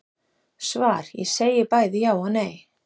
Svar Ég segi bæði já og nei.